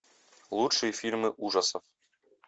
лучшие фильмы ужасов